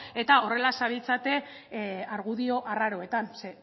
eta horrela zabiltzate argudio arraroetan ze